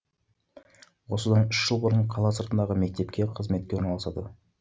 осыдан үш жыл бұрын қала сыртындағы мектепке қызметке орналасады